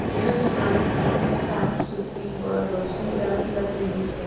यह दुकान काफी साफ-सुथरी व् रोशनीदार लग रही है।